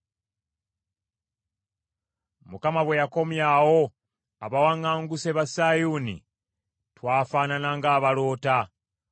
Mukama bwe yakomyawo abawaŋŋanguse ba Sayuuni, twafaanana ng’abaloota.